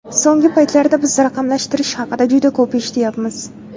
So‘nggi paytlarda biz raqamlashtirish haqida juda ko‘p eshityapmiz.